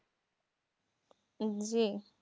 জি।